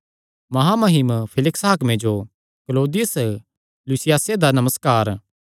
महामहिम फेलिक्स हाकमे जो क्लौदियुस लूसियासे दा नमस्कार